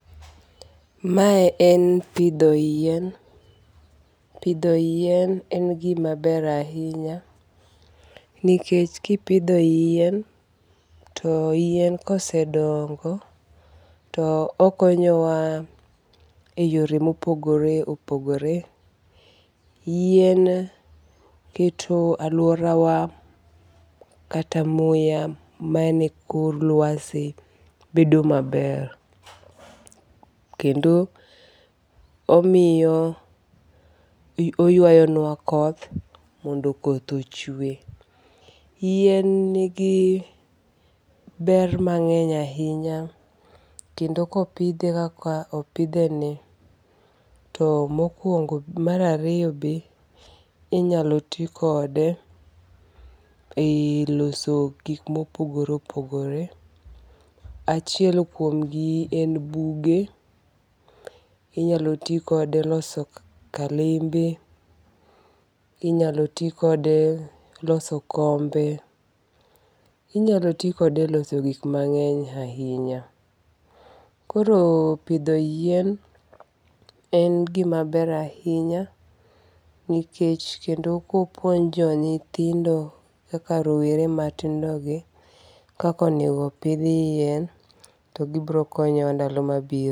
Mae en pidho yien. Pidho yien en gima ber ahinya, nikech kipidho yien, to yien kosedongo to okonyowa e yore mopogore opogore. Yien keto aluorawa kata muya mani kod luasi bedo maber. Kendo omiyo oyuayo nwa koth mondo koth ochwe. Yien nigi ber mang'eny ahinya, kendo kopidhe kaka opidheni, to mokuongo mar ariyo be inyalo tikode e loso gik mopogore opogore. Achiel kuomgi en buge. Inyalo tikode loso kalembe. Inyalo ti kode loso kombe. Inyalo tikode loso gik mang'eny ahinya. Koro pidho yien en gima ber ahinya, nikech kendo kopuonjo nyithindo kaka rowere matindogi, kaka onego pidh yien to gibiro konyo e ndalo mabiro.